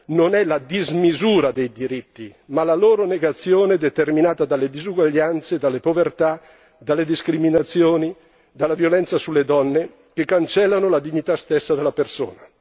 non è la dismisura dei diritti ma la loro negazione determinata dalle disuguaglianze, dalla povertà, dalle discriminazioni e dalla violenza sulle donne, che cancellano la dignità stessa della persona.